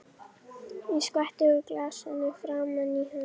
Ég skvetti úr glasinu framan í hann.